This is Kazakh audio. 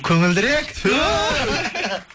көңілдірек ту